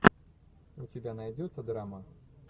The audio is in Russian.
у тебя найдется драма